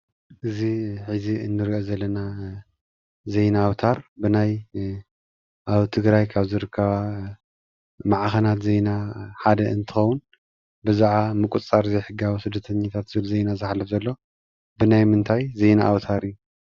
እዚ እንሪኦ ዘለና ዜና ኣውታር ብናይ ኣብ ትግራይ ካብ ዝርከባ ማዕኸናት ዜና ሓደ እንትኸዉን ብዛዕባ ምቁፅፃር ዘይሕጋዊ ስደተኛታት ብዜና ዝሓልፍ ዘሎ ብናይ ምንታይ ዜና ኣውታር እዩ?